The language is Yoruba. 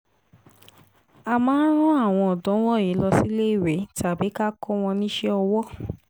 a máa rán àwọn ọ̀dọ́ wọ̀nyí lọ síléèwé tàbí ká kó wọn níṣẹ́ owó